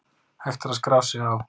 Hægt er að skrá sig á